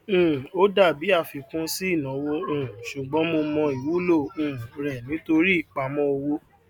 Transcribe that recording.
um ó dàbí àfikún sí ìnáwó um ṣùgbón mo mọ ìwúlò um rẹ nítorí ìpamọ owó